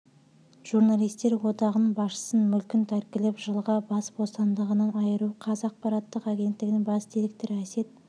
журналистер одағының басшысын мүлкін тәркілеп жылға бас бостандығынан айыру қаз ақпараттық агенттігінің бас директоры әсет